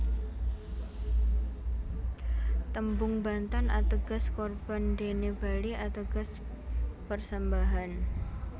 Tembung Bantan ateges Korban dene Bali ateges persembahan